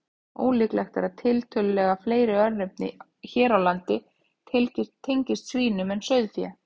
Ólíklegt er að tiltölulega fleiri örnefni hér á landi tengist svínum en sauðfé.